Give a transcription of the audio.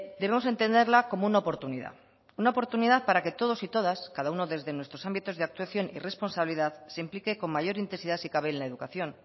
debemos entenderla como una oportunidad una oportunidad para que todos y todas cada uno desde nuestros ámbitos de actuación y responsabilidad se implique con mayor intensidad si cabe en la educación